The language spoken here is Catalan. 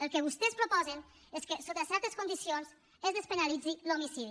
el que vostès proposen és que sota certes condicions es despenalitzi l’homicidi